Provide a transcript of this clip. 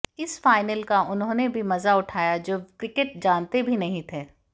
इस फाइनल का उन्होंने भी मजा उठाया जो क्रिकेट जानते भी नहीं थे